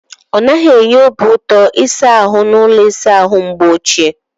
Ọ naghị enye obiụtọ ịsa ahụ n'ụlọ ịsa ahụ mgbe ochie.